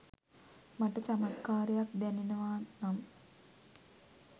මට චමත්කාරයක් දැනෙනවා නම්